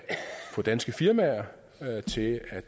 få danske firmaer til at